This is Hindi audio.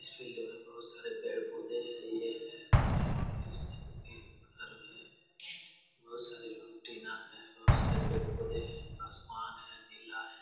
इस फील्ड में बहुत सारे पेड़-पौधे हइये है और इसमें देखिये घर है। बहुत सारे लोग हैं बहुत सारे पेड़-पौधे हैं आसमान है नीला है।